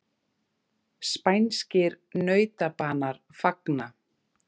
Spænskir nautabanar fagna